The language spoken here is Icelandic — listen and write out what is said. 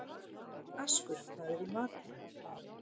Askur, hvað er í matinn?